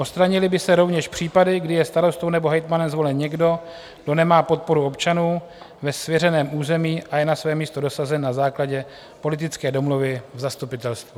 Odstranily by se rovněž případy, kdy je starostou nebo hejtmanem zvolen někdo, kdo nemá podporu občanů ve svěřeném území a je na své místo dosazen na základě politické domluvy v zastupitelstvu.